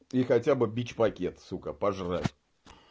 и хотя бы бич-пакет сука пожрать